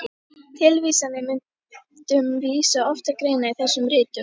Tilvísanir með myndum vísa oft til greina í þessum ritum.